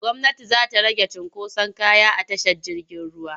Gwmnati za ta rage cunkoson kaya a tashar jirgin ruwa.